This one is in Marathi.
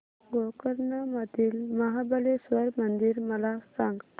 गोकर्ण मधील महाबलेश्वर मंदिर मला सांग